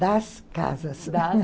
Das casas.